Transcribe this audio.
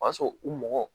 O y'a sɔrɔ u mɔgɔ